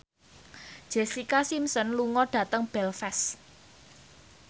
Jessica Simpson lunga dhateng Belfast